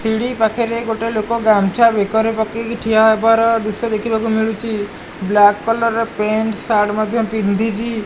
ସିଡ଼ି ପାଖେରେ ଗୋଟେ ଲୋକ ଗାମଛା ବେକରେ ପକେଇକି ଠିଆ ହେବାର ଦୃଶ୍ୟ ଦେଖିବାକୁ ମିଳୁଚି। ବ୍ଲାକ୍ କଲର୍ ର ପେଣ୍ଟ୍ ସାର୍ଟ ମଧ୍ୟ ପିନ୍ଧିଚି।